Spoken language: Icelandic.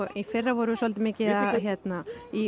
í fyrra vorum við mikið í